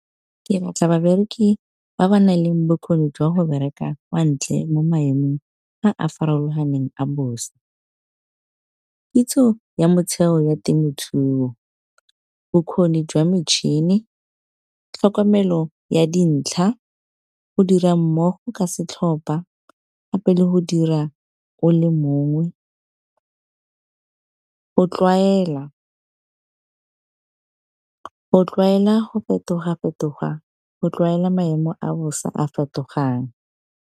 Ke batla babereki ba ba nang le bokgoni jwa go bereka kwa ntle, mo maemong a a farologaneng a bosa. Kitso ya motheo ya temothuo bokgoni jwa metšhini, tlhokomelo ya dintlha go dira mmogo ka setlhopa gape le go dira o le mongwe. Go tlwaela go fetoga-fetoga, go tlwaela maemo a bosa a fetogang.